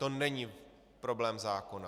To není problém zákona.